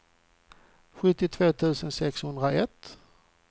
sjuttiotvå tusen sexhundraett